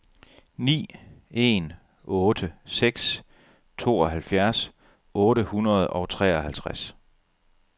ni en otte seks tooghalvfjerds otte hundrede og treoghalvtreds